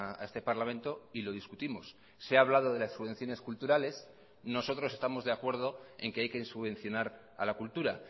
a este parlamento y lo discutimos se ha hablado de las subvenciones culturales nosotros estamos de acuerdo en que hay que subvencionar a la cultura